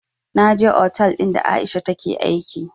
Na je otal ɗin da aisha take aiki